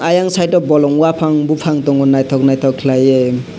ayang side o bolong uaphang buphang tongo naithok naithok khlaiui.